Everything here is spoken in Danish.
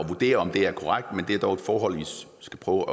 vurdere om det er korrekt men det er dog et forhold vi skal prøve